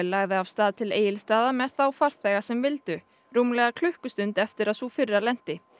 lagði af stað til Egilsstaða með þá farþega sem vildu rúmlega klukkustund eftir að sú fyrri lenti